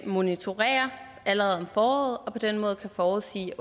monitorerer allerede i foråret og på den måde kan forudsige